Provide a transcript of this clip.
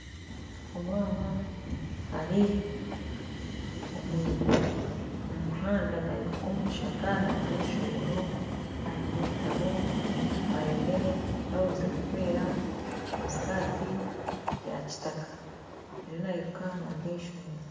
Omwaana ari omumuhanda nairuka omu kishaaka naruga aha ishomero aine ebitabo aine blouse erikwera na sikati yakitaaka ariyo nairuka naruga ah'ishomero